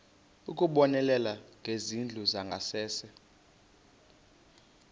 ukubonelela ngezindlu zangasese